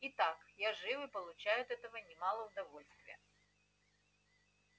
и так я жив и получаю от этого немало удовольствия